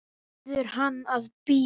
Biður hann að bíða.